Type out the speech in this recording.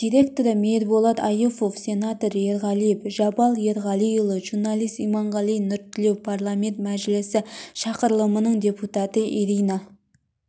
директоры мейірболат аюпов сенатор ерғалиев жабал ерғалиұлы журналист иманғали нұртілеу парламент мәжілісі шақырылымының депутаты ирина